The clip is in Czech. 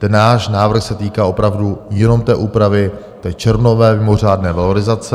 Ten náš návrh se týká opravdu jenom té úpravy té červnové mimořádné valorizace.